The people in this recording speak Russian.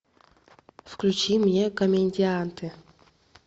включи мне комедианты